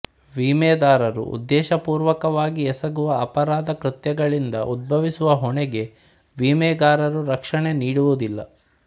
ವಿಮೆದಾರರು ಉದ್ದೇಶಪೂರ್ವಕವಾಗಿ ಎಸಗುವ ಅಪರಾಧ ಕೃತ್ಯಗಳಿಂದ ಉದ್ಭವಿಸುವ ಹೊಣೆಗೆ ವಿಮೆಗಾರರು ರಕ್ಷಣೆ ನೀಡುವುದಿಲ್ಲ